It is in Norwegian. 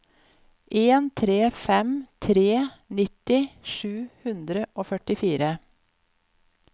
en tre fem tre nitti sju hundre og førtifire